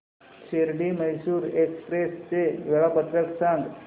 Shirdi Mysore express चे वेळापत्रक सांग